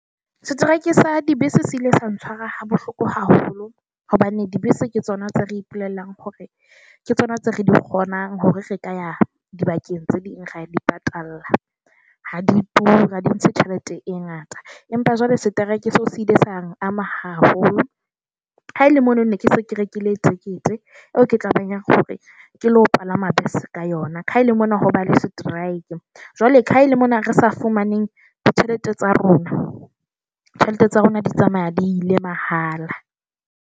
Strike sa dibese se ile sa ntshwara ha bohloko haholo hobane dibese ke tsona tse re ipulellang hore ke tsona tse re di kgonang hore re ka ya dibakeng tse ding, ra di patallla. Ha di tura, ha di ntshe tjhelete e ngata. Empa jwale strike se se ile sa ama haholo. Haele mono ne ke se ke rekile tekete eo, ke tla ba nyaka hore ke le ho palama bese ka yona. Ha ele mona ho ba le strike. Jwale ka ha e le mona re sa fumaneng ditjhelete tsa rona, tjhelete tsa rona di tsamaya di ile mahala.